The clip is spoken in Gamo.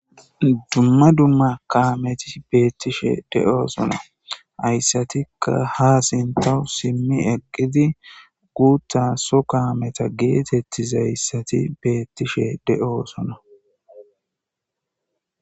dumma dumma kaameti beettishe de'osona hayssatikka ha sintawu simmi eqqidi guutta so kaameta geetettizayssati beettishe de'oosona